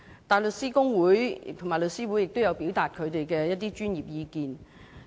大律師公會及香港律師會亦有表達他們的專業意見。